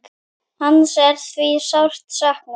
Hans er því sárt saknað.